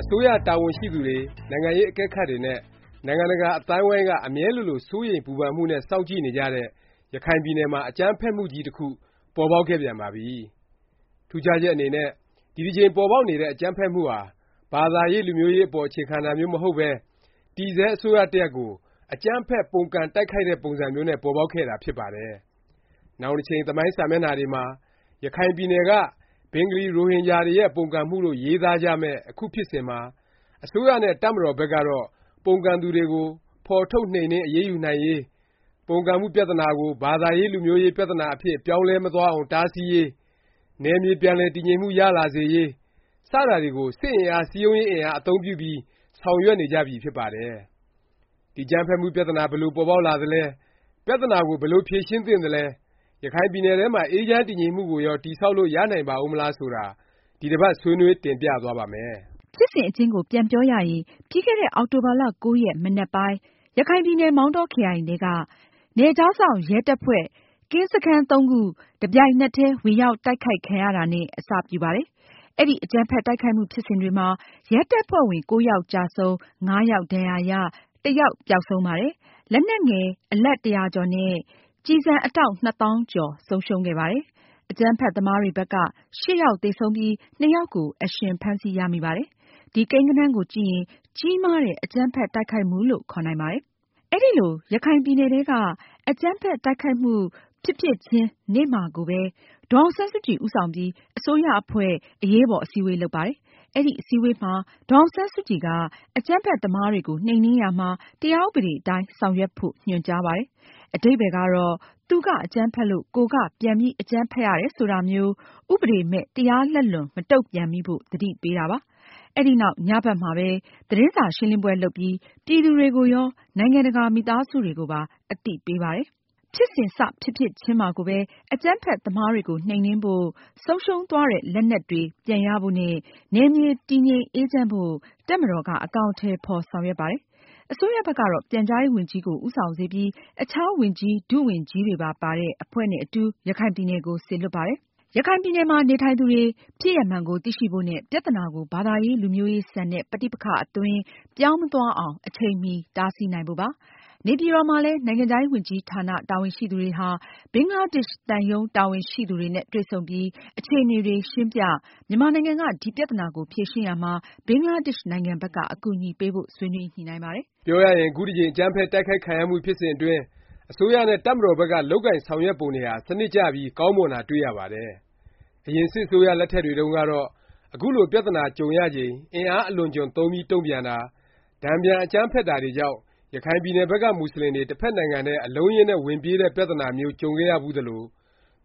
အစိုးရတာဝန်ရှိသူတွေ၊ နိုင်ငံရေးအကဲခတ်တွေနဲ့ နိုင်ငံတကာ အသိုင်းအဝိုင်းက အမြဲလိုလို စိုးရိမ်ပူပန်မှုနဲ့ စောင့်ကြည့်နေကြတဲ့ ရခိုင်ပြည်နယ်မှာ အကြမ်းဖက် မှုကြီးတစ်ခု ပေါ်ပေါက်ခဲ့ပြန်ပါပြီ။ ထူးခြားချက်အနေနဲ့ ဒီတစ်ကြိမ်ပေါ်ပေါက်နေတဲ့ အကြမ်းဖက်မှုဟာ ဘာသာရေး လူမျိုးရေးအပေါ် အခြေခံတာမျိုး မဟုတ်ပဲ တည်ဆဲ အစိုးရတစ်ရပ်ကို အကြမ်းဖက် ပုန်ကန်တိုက်ခိုက်တဲ့ ပုံစံမျိုးနဲ့ ပေါ်ပေါက်ခဲ့ တာ ဖြစ်ပါတယ်။ နောင်တစ်ချိန် သမိုင်းစာမျက်နှာတွေမှာ ရခိုင်ပြည်နယ်က ဘင်္ဂလီ-ရိုဟင်ဂျာတွေရဲ့ ပုန်ကန်မှုလို့ ရေးသားကြမယ်ေျ့ အခု ဖြစ်စဉ်မှာ အစိုးရနဲ့ တပ်မတော်ဘက်ကတော့ ပုန်ကန်သူတွေကို ဖော်ထုတ် နှိမ်နင်း အရေးယူနိုင်ရေး၊ ပုန်ကန်မှုပြသနာကို ဘာသာရေး လူမျိုးရေး ပြသနာအဖြစ် ပြောင်းလဲမသွားအောင် တားဆီးရေး၊ နယ်မြေ ပြန်လည် တည်ငြိမ်မှု ရလာစေရေး စတာတွေကို စစ်အင်အား၊ စည်းရုံးရေး အင်အား အသုံးပြုပြီး ဆောင်ရွက်နေကြပြီ ဖြစ်ပါတယ်။ ဒီအကြမ်းဖက်မှု ပြသနာ ဘယ်လို ပေါ်ပေါက်လာသလဲ၊ ပြသနာကို ဘယ်လို ဖြေရှင်းသင့်သလဲ၊ ရခိုင်ပြည်နယ်ထဲမှာ အေးချမ်းတည်ငြိမ်မှုကိုရော တည်ဆောက်လို့ ရနိုင်ပါဦးမလား ဆိုတာ ဒီတစ်ပတ် ဆွေးနွေး တင်ပြသွားပါ့မယ်။ ဖြစ်စဉ်အကျဉ်းကို ပြန်ပြောရရင် ပြီးခဲ့တဲ့ အောက်တိုဘာ ၉ ရက် မနက်ပိုင်း ရခိုင်ပြည်နယ် မောင်တောခရိုင်ထဲက နယ်ခြားစောင့် ရဲတပ်ဖွဲ့ ကင်းစခန်းသုံးခု တစ်ပြိုင်နက်တည်း ဝင်ရောက်တိုက်ခိုက်ခံရတာနဲ့ အစပြုပါတယ်။ အဲဒီ အကြမ်းဖက် တိုက်ခိုက်မှုဖြစ်စဉ်တွေမှာ ရဲတပ်ဖွဲ့ဝင် ၉ ယောက်ကျဆုံး၊ ၅ ယောက်ဒါဏ်ရာရ၊ တစ်ယောက် ပျောက်ဆုံးပါတယ်။ လက်နက်ငယ် အလက် ၁၀၀ ကျော်နဲ့ ကျည်ဆံ အတောင့် နှစ်သောင်းကျော် ဆုံးရှုံးခဲ့ပါတယ်။ အကြမ်းဖက်သမားတွေဘက်က ၈ ယောက်သေဆုံးပြီး ၂ ယောက်ကို အရှင်ဖမ်းဆီးရမိပါတယ်။ ဒီကိန်းဂဏန်းကိုကြည့်ရင် ကြီးမားတဲ့ အကြမ်းဖက် တိုက်ခိုက်မှုလို့ ခေါ်နိုင်ပါတယ်။ အဲဒီလို ရခိုင်ပြည်နယ်ထဲက အကြမ်းဖက်တိုက်ခိုက်မှု ဖြစ် စဉ် ဖြစ်ဖြစ်ချင်း နေ့မှာ ကိုပဲ ဒေါ်အောင်ဆန်းစုကြည် ဦးဆောင်ပြီး အစိုးရအဖွဲ့ အရေးပေါ် အစည်းအဝေး လုပ်ပါတယ်။ အဲဒီ အစည်းအဝေးမှာ ဒေါ်အောင်ဆန်းစုကြည်က အကြမ်းဖက် သမားတွေ ကို နှိမ်နင်းရာမှာ တရားဥပဒေအတိုင်း ဆောင်ရွက်ဖို့ ညွှန်ကြားပါတယ်။ အဓိပ္ပါယ်ကတော့ သူက အကြမ်းဖက်လို့ ကိုယ်က ပြန်အကြမ်းဖက်ရတယ် ဆိုတာမျိုး ဥပဒေမဲ့၊ တရားလက်လွန် မတုန့်ပြန်မိဖို့ သတိပေးတာပါ။ အဲဒီနောက် ညဘက်မှာပဲ သတင်းစာရှင်းလင်းပွဲ လုပ်ပြီး ပြည်သူတွေကိုရော၊ နိုင်ငံတကာ မိသားစုတွေကိုပါ အသိပေးပါတယ်။ ဖြစ်စဉ် စဖြစ်ဖြစ်ချင်းမှာကိုပဲ အကြမ်းဖက် သမားတွေကို နှိမ်နင်းဖို့၊ ဆုံးရှုံးသွားတဲ့ လက်နက်တွေ ပြန်ရဖို့နဲ့ နယ်မြေ တည်ငြိမ်အေးချမ်းဖို့ တပ်မတော်က အကောင်အထည် ဖော် ဆောင် ရွက်ပါတယ်။ အစိုးရဘက်ကတော့ ပြန်ကြားရေးဝန်ကြီးကို ဦးဆောင်စေပြီး အခြား ဝန်ကြီး၊ ဒုဝန်ကြီးတွေပါတဲ့ အဖွဲ့နဲ့အတူ ရခိုင်ပြည်နယ်ကို စေလွှတ်ပါတယ်။ ရခိုင်ပြည်နယ်မှာ နေထိုင်သူတွေ ဖြစ်ရပ်မှန်ကို သိရှိဖို့နဲ့ ပြသနာကို ဘာသာရေး လူမျိုးရေးဆန်တဲ့ ပဋိပက္ခအသွင် ပြောင်းမသွားအောင် အချိန်မီ တားဆီးနိုင် ဖို့ပါ။ နေပြည်တော်မှာလည်း နိုင်ငံခြားရေး ဝန်ကြီးဌာန တာဝန်ရှိသူတွေဟာ ဘင်္ဂ လားဒေ့ရှ် သံရုံးတာဝန်ရှိသူတွေနဲ့ တွေ့ဆုံပြီး အခြေအနေတွေ ရှင်းပြ၊ မြန် မာနိုင်ငံက ဒီ ပြသနာကို ဖြေရှင်းရာမှာ ဘင်္ဂလားဒေ့ရှ်နိုင်ငံဘက်က အကူအညီပေးဖို့ ဆွေးနွေး ညှိနှိုင်းပါတယ်။ ပြောရရင် အခုတစ်ကြိမ် အကြမ်းဖက်တိုက်ခိုက်ခံရမှု ဖြစ်စဉ်အတွင်း အစိုးရနဲ့ တပ်မတော်ဘက်က လုပ်ကိုင်ဆောင်ရွက်ပုံတွေဟာ စနစ်ကျပြီး ကောင်းမွန် တာ တွေ့ ရပါတယ်။ အရင် စစ်အစိုးရလက်ထက်တွေတုန်းကတော့ အခုလို ပြသနာ ကြုံရချိန် အင်အားအလွန်အကျွံသုံးပြီး တုန့်ပြန်တာ၊ တန်ပြန် အကြမ်းဖက်တာတွေကြောင့် ရခိုင်ပြည်နယ်ဘက်က မူဆလင်တွေ တစ်ဖက်နိုင်ငံထဲ အလုံးအရင်းနဲ့ ဝင်ပြေးတဲ့ ပြသနာမျိုးကြုံခဲ့ရဘူးသလို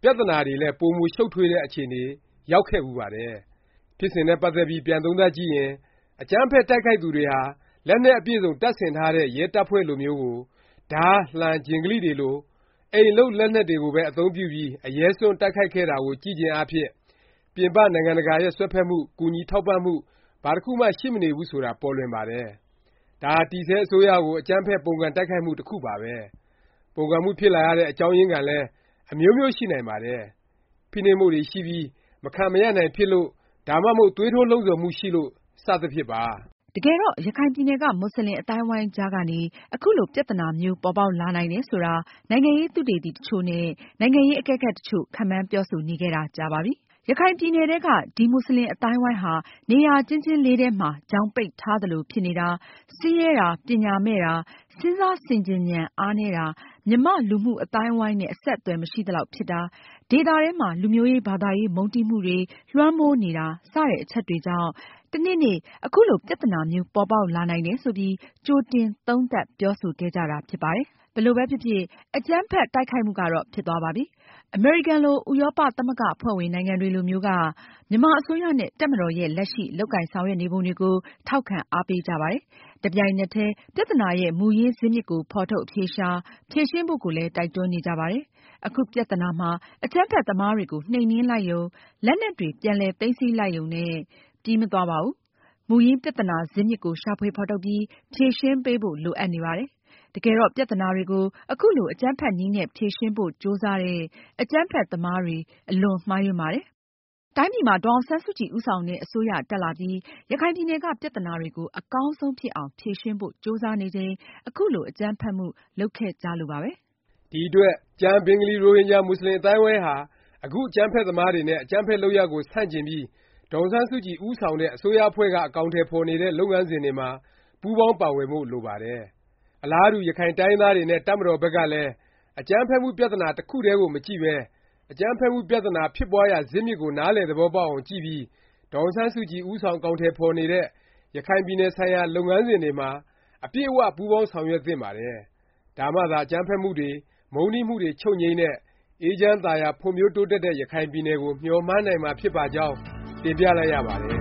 ၊ ပြသနာတွေလည်း ပိုမိုရှုတ်ထွေးတဲ့ အခြေ အနေ ရောက်ခဲ့ဖူးပါတယ်။ ဖြစ်စဉ်နဲ့ ပတ်သက်ပြီး ပြန်သုံးသပ်ကြည့်ရင် အကြမ်းဖက်တိုက်ခိုက်သူတွေဟာ လက်နက်အပြည့်စုံ တပ်ဆင်ထားတဲ့ ရဲတပ်ဖွဲ့လိုမျိုးကို ဓား၊ လှံ၊ ဂျင်ဂလိတွေလို အိမ်လုပ်လက်နက်တွေကိုပဲ အသုံးပြုပြီး အရဲစွန့်တိုက်ခိုက်တာကို ကြည့်ခြင်း အားဖြင့် ပြင်ပ နိုင်ငံတကာတွေရဲ့ စွက်ဖက်မှု၊ ကူညီထောက်ပံ့မှု ဘာတစ်ခုမှ ရှိမနေဘူးဆိုတာ ပေါ်လွင်ပါတယ်။ ဒါဟာ တည်ဆဲ အစိုးရကို အကြမ်းဖက် ပုန်ကန်တိုက်ခိုက်မှု တစ်ခုပါပဲ။ ပုန်ကန်မှု ဖြစ်လာရတဲ့ အကြောင်းရင်းခံလည်း အမျိုးမျိုး ရှိနိုင်ပါတယ်။ ဖိနှိပ်မှုတွေ ရှိပြီး မခံမရပ်နိုင်ဖြစ်လို့၊ ဒါမှမဟုတ် သွေး ထိုးလှုံ့ဆော်မှု ရှိလို့ စသဖြင့်ပါ။ တကယ်တော့ ရခိုင်ပြည်နယ်က မူဆလင် အသိုင်းအဝိုင်းကြားကနေ အခုလို ပြသ နာမျိုး ပေါ်ပေါက်လာနိုင်တယ် ဆိုတာ နိုင်ငံရေးသုတေသီ တစ်ချို့ နဲ့ နိုင်ငံရေး အကဲခတ် တစ်ချို့ ခန့်မှန်းပြောဆိုနေခဲ့တာ ကြာပါပြီ။ ရခိုင်ပြည်နယ်ထဲက ဒီ မူဆလင် အသိုင်းအဝိုင်း ဟာ နေရာကျဉ်းကျဉ်းလေး ထဲမှာ ချောင်ပိတ်ထား သလို ဖြစ်နေတာ၊ ဆင်းရဲတာ၊ ပညာမဲ့တာ၊ စဉ်းစားဆင်ခြင်ဉာဏ် အားနည်း တာ၊ မြန်မာ့လူမှုအသိုင်းအဝိုင်းနဲ့ အဆက်အသွယ် မရှိသလောက်ဖြစ် တာ၊ ဒေသ ထဲမှာ လူမျိုးရေး၊ ဘာသာရေး မုန်းတီးမှုတွေ လွှမ်းမိုးနေတာ စတဲ့အ ချက်တွေကြောင့် တနေ့နေ့ ခုလို ပြသနာမျိုး ပေါ်ပေါက်လာနိုင်တယ်ဆိုပြီး ကြိုတင် သုံးသပ်ပြောဆိုခဲ့ကြတာ ဖြစ်ပါတယ်။ ဘယ်လိုပဲဖြစ်ဖြစ် အကြမ်းဖက်မှု ဖြစ်စဉ်ကြီးကတော့ ဖြစ်ပြီးသွားပါပြီ။ အမေရိကန်လို၊ ဥရောပ သမဂ္ဂအဖွဲ့ဝင်နိုင်ငံတွေလိုမျိုးက မြန်မာအစိုးရနဲ့ တပ်မတော်ရဲ့ လက်ရှိ လုပ်ကိုင်ဆောင်ရွက်နေပုံတွေကို ထောက်ခံ အားပေးကြပါတယ်။ တစ်ပြိုင်နက်တည်း ပြသနာရဲ့ မူရင်း ဇစ်မြစ်ကို ဖော်ထုတ် အဖြေရှာ၊ ဖြေရှင်းဖို့ကိုလည်း တိုက်တွန်းနေကြပါတယ်။ အခု ပြသနာမှာ အကြမ်းဖက်သမားတွေကို နှိမ်နင်းလိုက်ရုံ၊ လက်နက်တွေ ပြန်လည် သိမ်းဆည်းလောက်ရုံနဲ့ ပြီးမသွားပါဘူး။ မူရင်း ပြသနာ ဇစ်မြစ်ကို ရှာဖွေဖော်ထုတ်ပြီး ဖြေရှင်းပေးဖို့ လိုအပ်နေပါတယ်။ တကယ်တော့ ပြသနာတွေကို ခုလို အကြမ်းဖက်နည်းနဲ့ ဖြေရှင်းဖို့ကြိုးစားတဲ့ အကြမ်းဖက်သမားတွေ အလွန်မှားယွင်းပါတယ်။ တိုင်းပြည်မှာ ဒေါ်အောင်ဆန်းစုကြည် ဦးဆောင်တဲ့ အစိုးရ တက်လာပြီး ရခိုင်ပြည်နယ်က ပြသနာတွေကို အကောင်းဆုံးဖြစ်အောင် ဖြေရှင်းဖို့ ကြိုးစားနေချိန် ခုလို အကြမ်းဖက်မှု လုပ်ခဲ့ကြလို့ပါပဲ။ ဒီအတွက် ကျန် ဘင်္ဂလီ-ရိုဟင်ဂျာ မူဆလင် အသိုင်းအဝိုင်းဟာ အခု အကြမ်းဖက် သမားတွေနဲ့ အကြမ်းဖက် လုပ်ရပ်ကို ဆန့်ကျင်ပြီး ဒေါ်အောင်ဆန်း စုကြည် ဦးဆောင်တဲ့ အစိုးရအဖွဲ့က အကောင်အထည်ဖော်နေတဲ့ လုပ်ငန်းစဉ်တွေမှာ ပူးပေါင်းပါဝင်ဖို့ လိုပါတယ်။ အလားတူ ရခိုင်တိုင်းရင်းသားတွေနဲ့ တပ်မတော် ဘက်ကလည်း အကြမ်းဖက်မှု ပြသနာ တစ်ခုတည်းကို မကြည့်ပဲ အကြမ်းဖက် မှု ပြသနာ ဖြစ်ပွားရာဇစ်မြစ်ကို နားလည်သဘောပေါက်အောင် ကြည့်ပြီး ဒေါ်အောင်ဆန်းစုကြည် ဦးဆောင် အကောင်အထည်ဖော်နေတဲ့ ရခိုင်ပြည်နယ် ဆိုင်ရာ လုပ်ငန်းစဉ်တွေမှာ အပြည့်အ၀ ပူးပေါင်းဆောင်ရွက် သင့်ပါတယ်။ ဒါမှသာ အကြမ်းဖက်မှုတွေ မုန်းတီးမှုတွေ ချုပ်ငြိမ်းတဲ့၊ အေးချမ်း သာယာ ဖွံ့ဖြိုးတိုးတက်တဲ့ ရခိုင်ပြည်နယ် ကို မျှော်မှန်းနိုင်မှာ ဖြစ်ပါကြောင်း တင်ပြလိုက်ရပါတယ်